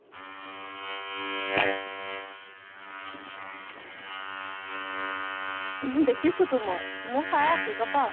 উম দেখিছোতো মই, ময়ো চাই আছো গম পাৱ।